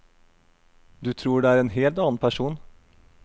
Du tror det er en helt annen person.